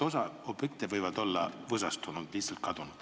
Osa objekte võivad olla võsastunud või lihtsalt kadunud.